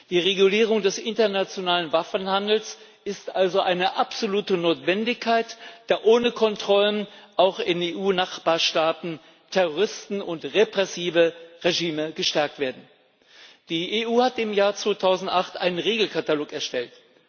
Die Regulierung des internationalen Waffenhandels ist also eine absolute Notwendigkeit, da ohne Kontrollen auch in EU Nachbarstaaten Terroristen und repressive Regime gestärkt werden. Die EU hat im Jahr 2008 einen Regelkatalog erstellt.